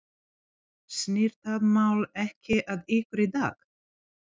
Snýr það mál ekki að ykkur í dag?